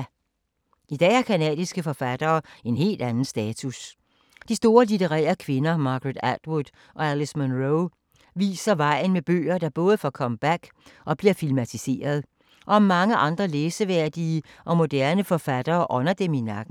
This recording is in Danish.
I dag har canadiske forfattere en helt anden status. De store litterære kvinder Margaret Atwood og Alice Munro viser vejen med bøger, der både får comeback og bliver filmatiseret. Og mange andre læseværdige og moderne forfattere ånder dem i nakken.